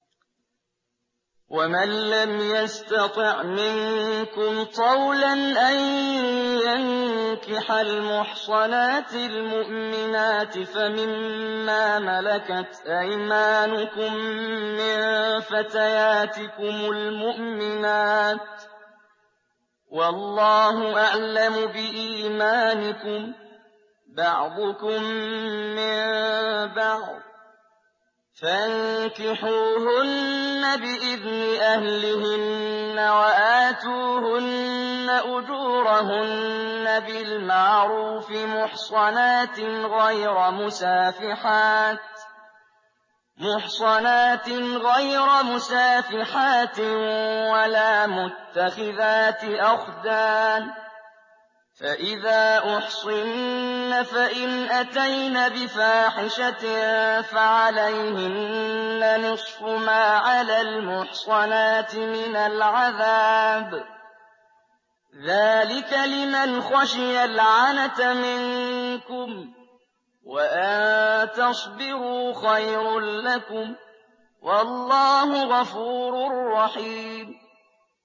وَمَن لَّمْ يَسْتَطِعْ مِنكُمْ طَوْلًا أَن يَنكِحَ الْمُحْصَنَاتِ الْمُؤْمِنَاتِ فَمِن مَّا مَلَكَتْ أَيْمَانُكُم مِّن فَتَيَاتِكُمُ الْمُؤْمِنَاتِ ۚ وَاللَّهُ أَعْلَمُ بِإِيمَانِكُم ۚ بَعْضُكُم مِّن بَعْضٍ ۚ فَانكِحُوهُنَّ بِإِذْنِ أَهْلِهِنَّ وَآتُوهُنَّ أُجُورَهُنَّ بِالْمَعْرُوفِ مُحْصَنَاتٍ غَيْرَ مُسَافِحَاتٍ وَلَا مُتَّخِذَاتِ أَخْدَانٍ ۚ فَإِذَا أُحْصِنَّ فَإِنْ أَتَيْنَ بِفَاحِشَةٍ فَعَلَيْهِنَّ نِصْفُ مَا عَلَى الْمُحْصَنَاتِ مِنَ الْعَذَابِ ۚ ذَٰلِكَ لِمَنْ خَشِيَ الْعَنَتَ مِنكُمْ ۚ وَأَن تَصْبِرُوا خَيْرٌ لَّكُمْ ۗ وَاللَّهُ غَفُورٌ رَّحِيمٌ